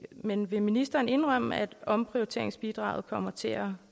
men vil ministeren indrømme at omprioriteringsbidraget kommer til at